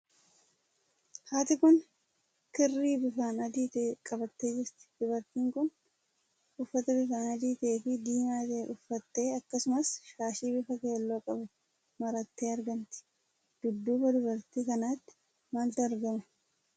Haati kun kirrii bifaan adii tokko qabattee jirti. Dubartiin kun uffata bifaan adii ta'ee fi diimaa ta'e uuffattee, akkasumas shaashii bifa keelloo qabu marattee argamti. Dudduuba dubartii kanaatti maaltu argama?